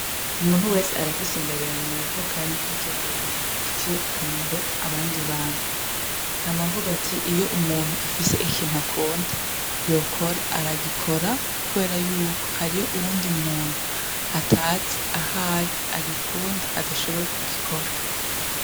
Umuntu wese arafise ingabirano yavukanye, kandi iyo ngabirano ifitiye akamaro abandi bantu, nama mvugati iyo umuntu afise ikintu akunda yokora, aragikora, kubera yuko hariyo uwundi muntu atazi ahari agikunda adashoboye kugikora.